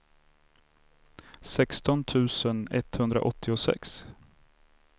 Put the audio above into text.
sexton tusen etthundraåttiosex